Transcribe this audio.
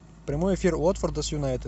прямой эфир уотфорда с юнайтед